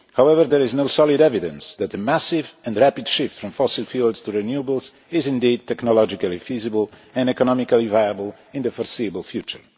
However, there is no solid evidence that a massive and rapid shift from fossil fuels to renewables is indeed technologically feasible and economically viable in the foreseeable future.